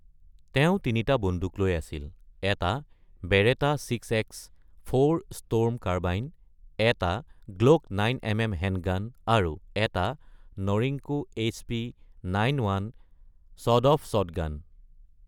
তেওঁ তিনিটা বন্দুক লৈ আছিল: এটা বেৰেটা চিএক্স৪ ষ্টৰ্ম কাৰ্বাইন, এটা গ্লক ৯ এমএম হেণ্ডগান, আৰু এটা নৰিঙ্কো এইচপি৯-১ ছৱেড-অফ শ্বটগান।